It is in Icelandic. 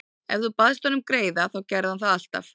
Ef þú baðst hann um greiða þá gerði hann það alltaf.